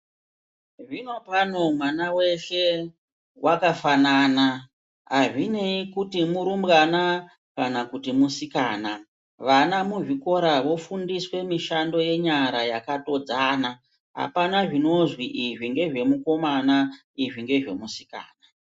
Zvinopano mwana weshe wakafanana. Hazvinei kuti murumbwana kana kuti musikana. Vana muzvikora vofundiswe mishando yenyara yakatodzana. Hapana zvinozwi izvi ngezvemukomana izvi ngezvemusikana.